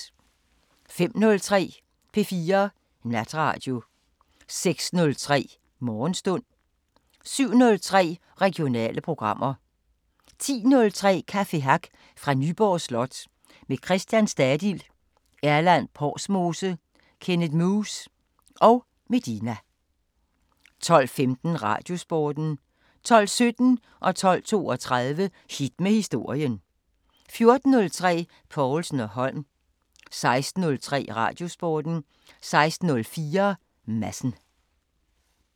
05:03: P4 Natradio 06:03: Morgenstund 07:03: Regionale programmer 10:03: Café Hack fra Nyborg Slot – med Christian Stadil, Erland Porsmose, Kenneth Muhs og Medina 12:15: Radiosporten 12:17: Hit med historien 12:32: Hit med historien 14:03: Povlsen & Holm 16:03: Radiosporten 16:04: Madsen